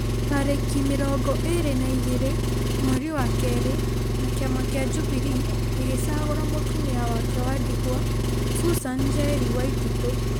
tarĩki mĩrongo ĩrĩ na igĩrĩ mweri wa kerĩ na kĩama kĩa Jubilee gĩgĩcagũra mũtũmia wake wa ndigwa Susan Njeri Waititũ.